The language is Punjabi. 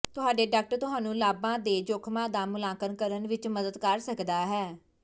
ਤੁਹਾਡੇ ਡਾਕਟਰ ਤੁਹਾਨੂੰ ਲਾਭਾਂ ਦੇ ਜੋਖਮਾਂ ਦਾ ਮੁਲਾਂਕਣ ਕਰਨ ਵਿੱਚ ਮਦਦ ਕਰ ਸਕਦਾ ਹੈ